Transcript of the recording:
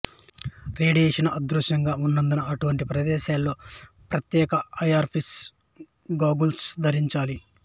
radiation అదృశ్యంగా ఉన్నందున అటువంటి ప్రదేశాలలో ప్రత్యేక ఐఆర్ప్రూఫ్ గాగుల్స్ ధరించాలి